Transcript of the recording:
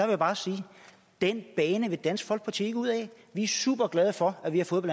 jeg bare sige den bane vil dansk folkeparti ikke ud ad vi er superglade for at vi har fået